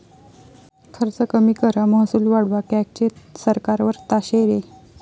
खर्च कमी करा, महसूल वाढवा, कॅगचे सरकारवर ताशेरे